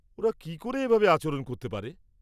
ওরা কি করে এভাবে আচরণ করতে পারে?